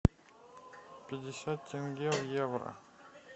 пятьдесят тенге в евро